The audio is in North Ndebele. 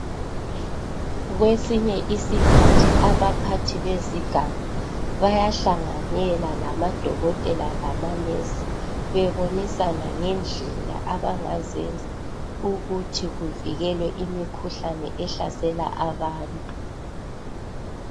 Kwesinye isikhathi abaphathi bezigaba bayahlanyela lamadokotela lamanesi bebonisana ngendlela abangazenza ukuthi kuvikelwe imikhuhlane ehlasela abantu